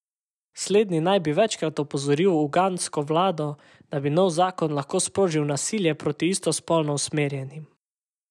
Slednji naj bi večkrat opozoril ugandsko vlado, da bi nov zakon lahko sprožil nasilje proti istospolno usmerjenim.